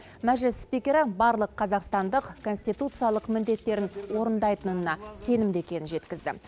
мәжіліс спикері барлық қазақстандық конституциялық міндеттерін орындайтынына сенімді екенін жеткізді